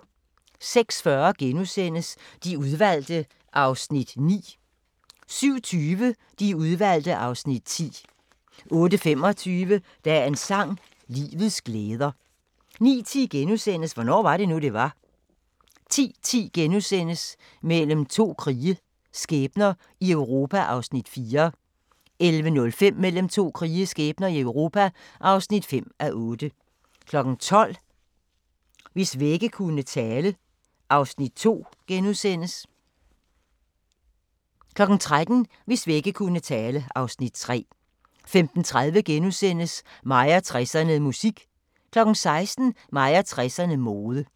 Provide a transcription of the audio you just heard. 06:40: De Udvalgte (Afs. 9)* 07:20: De Udvalgte (Afs. 10) 08:25: Dagens sang: Livets glæder 09:10: Hvornår var det nu det var * 10:10: Mellem to krige – skæbner i Europa (4:8)* 11:05: Mellem to krige – skæbner i Europa (5:8) 12:00: Hvis vægge kunne tale (Afs. 2)* 13:00: Hvis vægge kunne tale (Afs. 3) 15:30: Mig og 60'erne: Musik * 16:00: Mig og 60'erne: Mode